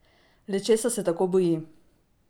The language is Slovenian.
Le česa se tako boji?